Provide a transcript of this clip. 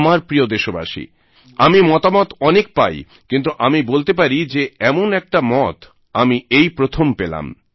আমার প্রিয় দেশবাসী আমি মতামত অনেক পাই কিন্তু আমি বলতে পারি যে এমন একটা মত আমি এই প্রথম পেলাম